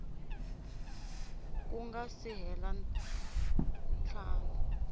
ku nga si hela ntlhanu